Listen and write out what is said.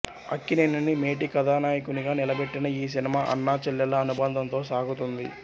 అక్కినేనిని మేటి కథానాయకునిగా నిలబెట్టిన ఈ సినిమా అన్న చెళ్ళెళ్ళ అనుభందంతో సాగుతుంది